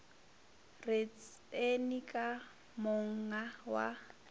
re tseni ka monga wa